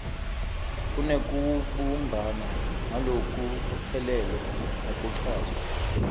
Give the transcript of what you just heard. kunekubumbana ngalokuphelele nekuchazwa